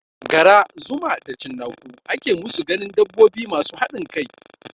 Gara, zuma da cinnaku ake musu ganin dabbobi masu haɗin kai